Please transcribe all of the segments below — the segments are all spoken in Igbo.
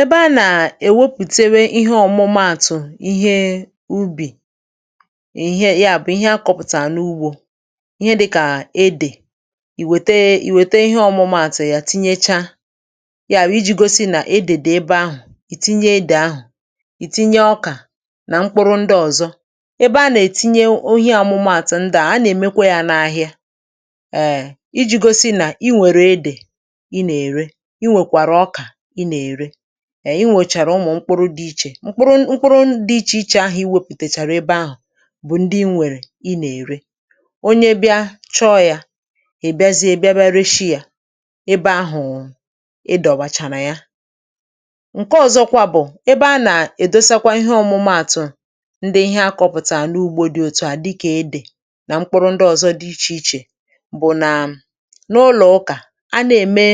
ebe a nà-èwepù̀tewe ihe ọ̀mụ́maàtụ̀ ihe ubì, ihe ya bụ̀ ihe akọ̇pụ̀tà n’ugbȯ, ihe dịkà edè, ì wète ihe ọ̀mụ́maàtụ̀ ya, tinyechá ya bụ̀ iji̇ gosi nà edè dị̀ ebe ahụ̀. ìtinye edè ahụ̀, ìtinye ọkà nà mkpụrụ ndị ọ̀zọ. ebe a nà-ètinye,(um) ọ̀hịa amụ́maàtụ̀ ndụ̀ a, a nà-èmekwa ya n’ahịa èè iji̇ gosi nà i nwèrè edè i nwèchàrà, umù mkpụrụ dị iche, mkpụrụ ndị iche iche ahụ̀ i wepùtèchàrà. ebe ahụ̀ bụ̀ ndị i nwèrè, i nà-ère onye bịa chọọ̇ yà, ị̀ bịazie ebe ereshị yà, ebe ahụ̀ ịdọ̀bàchàrà ya. ǹke ọ̀zọkwa bụ̀ ebe a nà-èdosakwa ihe ọ̀mụ́maàtụ̀ ndị ihe akọ̀pụ̀tàrà n’ugbȯ, dị òtùhà dịkà ịdị̇ nà mkpụrụ ndị ọ̀zọ dị iche iche.bù nà n’ụlọ̀ ụkà a na-ème,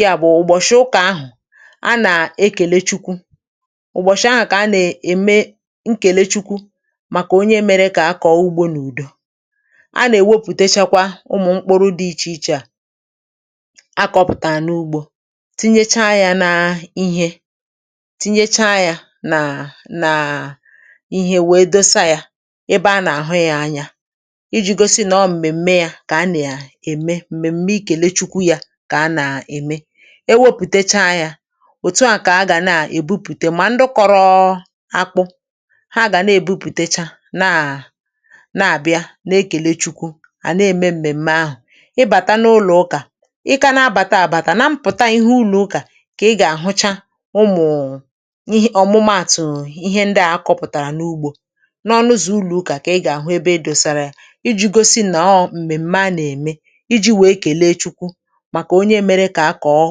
ị àbụ̀ ụ̀bọ̀shị̀ ụkà ahụ̀, a nà-ekèlè Chukwu ụ̀bọ̀shị̀ ahụ̀, kà a nè-ème ǹkèlè Chukwu màkà onye měrè kà a kọ̀ọ ugbȯ n’ùdo. a nà-èwepù̀techakwa ụmụ̀ mkpụrụ dị iche iche a akọ̇pụ̀tà n’ugbȯ, tinyechá yà n’ihè, tinyechá yà nà nà ihè wee dosa yà ebe a nà-àhụ ya anyȧ iji̇ gosi nà ọ m̀mèm̀me yà kà a nà ya ème. ẹwẹpụ̀techa yà òtù à kà a gà na-èbupùte,(um) mà ndịkọ̇rọ̇ akpụ ha gà na-èbupù̀techa, nà na-àbịa na-ẹ̀lẹ Chukwu à na-ẹ̀mẹ m̀mèm̀me ahụ̀.ị bàta n’ụlọ̀ ụkà, ị kȧ na-abàtà àbàtà na mpụ̀ta, ihè ụnụ̇ ụkà kà ị gà-àhụcha, ụmụ̀ụ̀ ọ̀mụ́maàtụ̀, ihe ndị à akọ̇pụ̀tàrà n’ugbȯ, n’ọnụzì ụlọ̀ ụkà kà ị gà-àhụ ebe edosàrà iji̇ gosi nà ọọ̀ m̀mèm̀me nà-ẹ̀mẹ màkà onye měrè kà a kọ̀ọ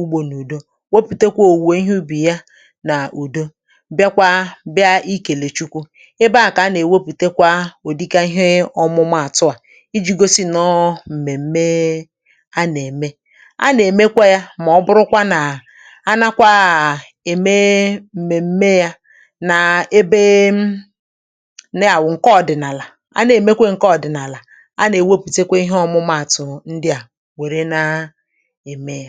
ugbȯ n’ùdo. wepùtekwa òwùwè ihe ubì ya nà ùdo, bịakwa bịa ikèlè Chukwu. ebe ahụ̀ kà a nà-èwepù̀tekwa ùdị̀ka ihe ọ̀mụ́maàtụ̀ à iji̇ gosi nà ọ nọ̀ n’ọ̀mèm̀me a nà-ème, a nà-èmekwa ya, mà ọ bụrụkwa nà a nàkwa à ème m̀mèm̀me ya nà ebe na-àwụ̀ ǹke ọ̀dị̀nàlà, a na-èmekwa ǹke ọ̀dị̀nàlà, a nà-èwepù̀tekwa ihe ọ̀mụ́maàtụ̀ ndị à e mee à.